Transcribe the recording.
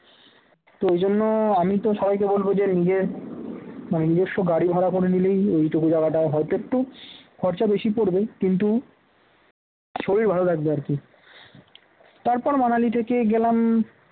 তো ঐ জন্য আমি তো সবাইকে বলব যে নিজে নিজস্ব গাড়ি ভাড়া করে নিলেই ওইটুকু জায়গাটা হয়তো একটু খরচা বেশি পড়বে কিন্তু শরীর ভালো লাগবে আর কি তারপর মানালি থেকে গেলাম